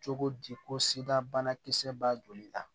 Cogo di ko sirabana kisɛba joli la